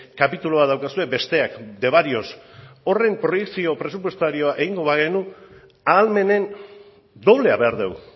kapitulu bat daukazue besteak de varios horren proiekzio presupuestarioa egingo bagenu ahalmenen doblea behar dugu